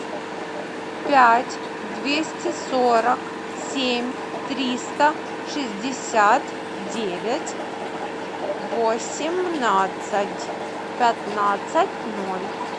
пять двести сорок семь триста шестьдесят девять восемнадцать пятнадцать ноль